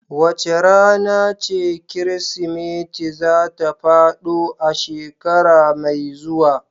Wace rana ce Kirsimeti za ta faɗo a shekara mai zuwa?